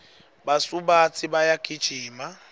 basubatsi bayagijima